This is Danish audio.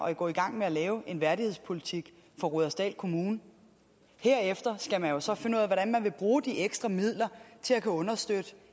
at gå i gang med at lave en værdighedspolitik for rudersdal kommune herefter skal man jo så finde ud af hvordan man vil bruge de ekstra midler til at kunne understøtte